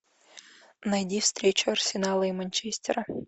найди встречу арсенала и манчестера